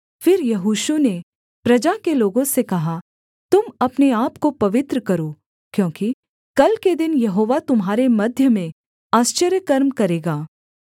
फिर यहोशू ने प्रजा के लोगों से कहा तुम अपने आपको पवित्र करो क्योंकि कल के दिन यहोवा तुम्हारे मध्य में आश्चर्यकर्म करेगा